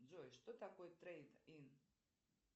джой что такое трейд ин